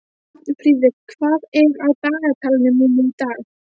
Arnfríður, hvað er á dagatalinu mínu í dag?